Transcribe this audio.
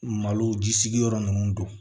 Malo jigi sigiyɔrɔ ninnu do